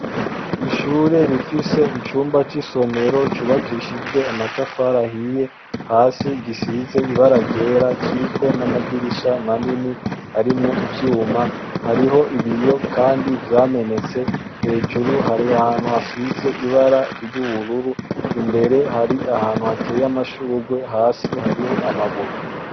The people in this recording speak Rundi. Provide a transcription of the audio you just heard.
Ishure rifise icumba cisomero cubakishijwe amatafari ahiye, hasi gisize ibara ryera kiriko namadirisha manini, harimwo ivyuma hariho ibiyo Kandi vyamenetse, hejuru hari ahantu hasize ibara, mbere hari ahantu hateye amashurwe, hasi hariho amabuye.